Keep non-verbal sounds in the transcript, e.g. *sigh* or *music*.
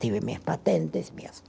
Tive minhas patentes. *unintelligible*